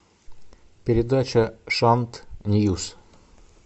передача шант ньюс